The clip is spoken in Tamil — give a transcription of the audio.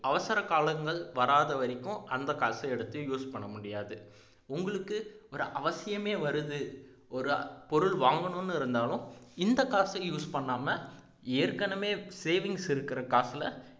அவசரகாலங்கள் வராத வரைக்கும் அந்த காசை எடுத்து use பண்ண முடியாது உங்களுக்கு ஒரு அவசியமே வருது ஒரு பொருள் வாங்கணும்னு இருந்தாலும் இந்த காசை use பண்ணாம ஏற்கனவே savings இருக்கிற காசுல